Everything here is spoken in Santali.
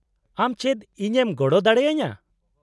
-ᱟᱢ ᱪᱮᱫ ᱤᱧ ᱮᱢ ᱜᱚᱲᱚ ᱫᱟᱲᱮ ᱟᱹᱧᱟᱹ ?